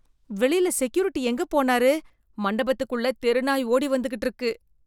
வெளில செக்யூரிட்டி எங்க போனாரு? மண்டபத்துக்குள்ள தெரு நாய் ஓடி வந்துக்கிட்டு இருக்கு.